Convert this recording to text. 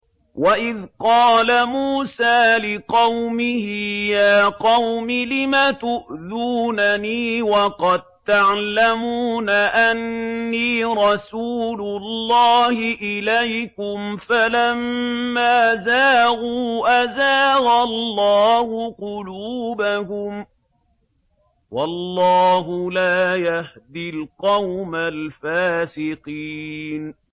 وَإِذْ قَالَ مُوسَىٰ لِقَوْمِهِ يَا قَوْمِ لِمَ تُؤْذُونَنِي وَقَد تَّعْلَمُونَ أَنِّي رَسُولُ اللَّهِ إِلَيْكُمْ ۖ فَلَمَّا زَاغُوا أَزَاغَ اللَّهُ قُلُوبَهُمْ ۚ وَاللَّهُ لَا يَهْدِي الْقَوْمَ الْفَاسِقِينَ